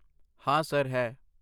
ਹਾਂ, ਸਰ, ਹੈ।